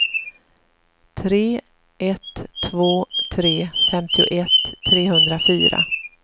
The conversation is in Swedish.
tre ett två tre femtioett trehundrafyra